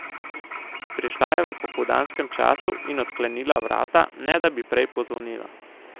Prišla je v popoldanskem času in odklenila vrata, ne da bi prej pozvonila.